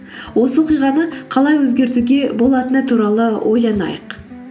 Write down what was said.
осы оқиғаны қалай өзгертуге болатыны туралы ойланайық